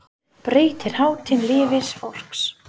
Breytir hátíðin lífi fólks?